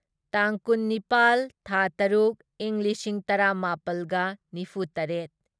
ꯇꯥꯡ ꯀꯨꯟꯅꯤꯄꯥꯜ ꯊꯥ ꯇꯔꯨꯛ ꯢꯪ ꯂꯤꯁꯤꯡ ꯇꯔꯥꯃꯥꯄꯜꯒ ꯅꯤꯐꯨꯇꯔꯦꯠ